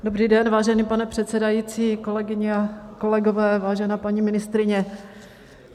Dobrý den, vážený pane předsedající, kolegyně a kolegové, vážená paní ministryně.